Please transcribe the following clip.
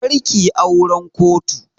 Kar kiyi auran kotu!